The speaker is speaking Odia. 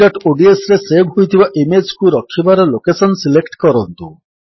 abcodsରେ ସେଭ୍ ହୋଇଥିବା ଇମେଜ୍ କୁ ରଖିବାର ଲୋକେଶନ୍ ସିଲେକ୍ଟ କରନ୍ତୁ